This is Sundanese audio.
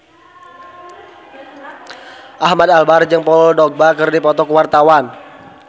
Ahmad Albar jeung Paul Dogba keur dipoto ku wartawan